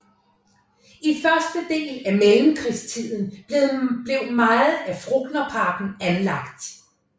I første del af mellemkrigstiden blev meget af Frognerparken anlagt